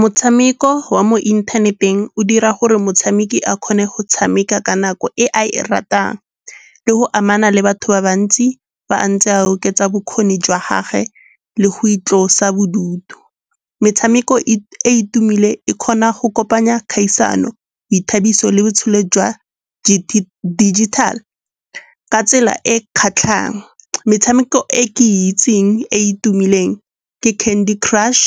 Motshameko wa mo inthaneteng o dira gore motshameki a kgone go tshameka ka nako e a e ratang le go amana le batho ba bantsi fa a ntse a oketsa bokgoni jwa gagwe le go itlosa bodutu. Metshameko e itumileng e kgona go kopanya kgaisano, boithabiso le botshelo jwa digital-e ka tsela e kgatlhang. Metshameko e ke itseng e tumileng ke Candy Crush